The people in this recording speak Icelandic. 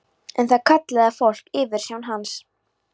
En það kallaði fólk yfirsjón hans.